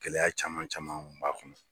Gɛlɛya caman caman tun b'a kɔnɔ